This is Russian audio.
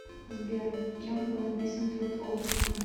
сбер кем был написан труд оптика